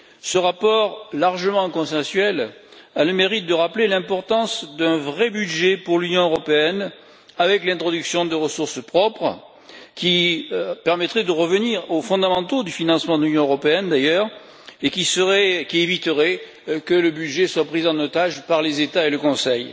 Ce rapport largement consensuel a le mérite de rappeler l'importance d'un vrai budget pour l'Union européenne avec l'introduction de ressources propres, qui permettrait de revenir aux fondamentaux du financement de l'Union européenne, d'ailleurs, et qui éviterait que le budget soit pris en otage par les États et le Conseil.